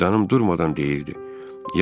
Vicdanım durmadan deyirdi: